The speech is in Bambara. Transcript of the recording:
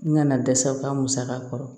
N nana dɛsɛ u ka musaka kɔrɔ